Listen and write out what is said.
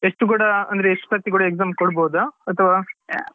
ಎಷ್ಟು ಕೂಡ ಅಂದ್ರೆ ಎಷ್ಟು ಸರ್ತಿ ಕೂಡ exam ಕೊಡ್ಬಹುದಾ ಅಥವಾ ಹೇಗೆ?